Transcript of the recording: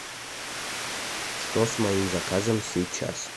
что с моим заказом сейчас